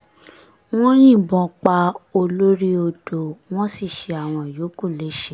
wọ́n yìnbọn pa olórí-odò wọ́n sì ṣe àwọn yòókù léṣe